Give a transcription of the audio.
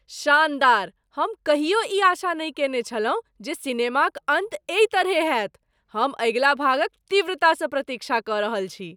शानदार! हम कहियो ई आशा नहि केने छलहुँ जे सिनेमाक अन्त एहि तरहेँ होयत। हम अगिला भागक तीव्रता सँ प्रतीक्षा कऽ रहल छी।